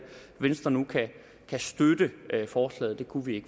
venstre nu kan støtte forslaget det kunne vi